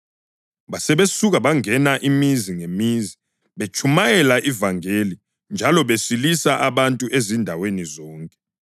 Basebesuka bangena imizi ngemizi, betshumayela ivangeli njalo besilisa abantu ezindaweni zonke.